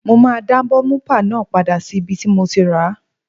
Mo máa dá bọ́múpà náà padà sí ibi tí mo ti ràá